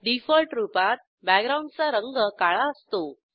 default रूपात बॅकग्राऊंडचा रंग काळा असतो